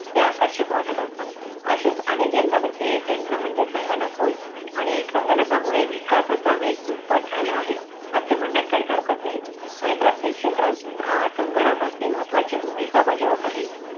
ते आकर्षक वाटत असत, अश्याच अनेक यंत्रा पैकी एक यंत्र म्हणजे संगणक होय, आणि संगणका मुळे विकासाचा वेग दुप्पट झाला आहे, असे म्हण्यात काहीच हरकत नाही. म्हणजे प्रत्येक क्षेत्रात अह संगणक अगदी महत्वाची भूमिका बजावत आहे.